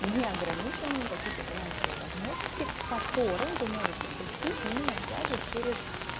неограниченные какие-то финансовые возможности к которым вы можете прийти именно опять же через